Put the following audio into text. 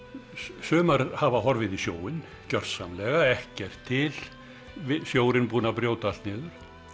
sumar hafa horfið í sjóinn gjörsamlega ekkert til sjórinn búinn að brjóta allt niður